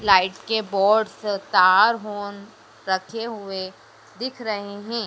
Light के boards तार होन रखे हुए दिख रहे हैं।